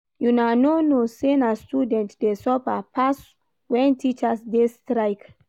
Una no know sey na students dey suffer pass wen teachers dey strike.